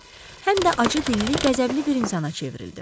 Həm də acıdilli, qəzəbli bir insana çevrildi.